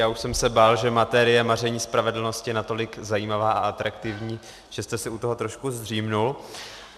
Já už jsem se bál, že materie maření spravedlnosti je natolik zajímavá a atraktivní, že jste si u toho trošku zdříml.